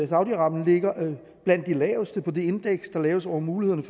saudi arabien ligger blandt de laveste på det indeks der laves over mulighederne